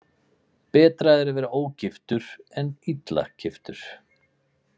Betra er að vera ógiftur en illa giftur.